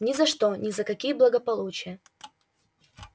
ни за что ни за какие благополучия